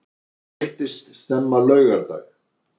Hann veiktist snemma á laugardag